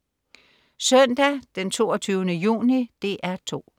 Søndag den 22. juni - DR 2: